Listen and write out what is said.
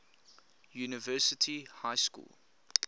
university high school